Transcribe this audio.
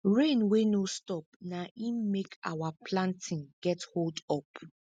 rain wey no stop na im make our planting get holdup